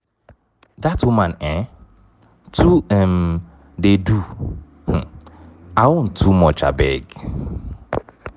dat woman um too um dey do um her own too much abeg.